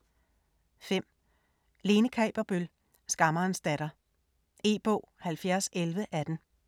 5. Kaaberbøl, Lene: Skammerens datter E-bog 701118